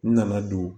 N nana don